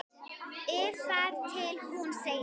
ið þar til hún segir